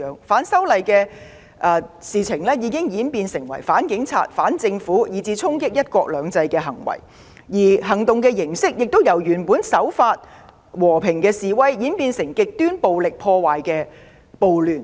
反修例行動已演變成反警察、反政府，以至衝擊"一國兩制"的行為；行動形式亦由原來的和平守法示威演變成極端暴力破壞的暴亂。